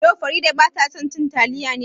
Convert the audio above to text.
Yau Farida bata son cin taliya ne?